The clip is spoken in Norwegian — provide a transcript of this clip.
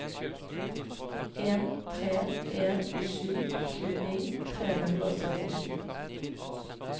en tre en sju tjueni tre hundre og syttisju